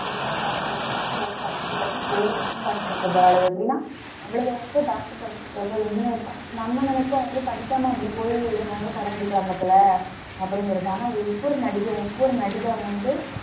படத்துல எல்லாம் பாத்தியா ஒவ்வொருத்தியும் படிச்சுட்டு படிச்சுட்டு படம் நடிக்க போறாளுக. எப்படின்னா அவளுக வந்து doctor படிச்சுருக்காளுக, engineering படி~, நம்ம நினைப்போ ஏன் படிக்காம இப்படி போயி நம்ம வந்து படம் நடிக்கிறாங்க போல. அப்படின்னு சொல்லிட்டு ஒவ்வொரு நடிகையும் ஒவ்வொரு நடிகரும் வந்து